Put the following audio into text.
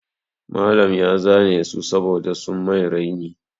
Malam ya zane su saboda sun mai raini.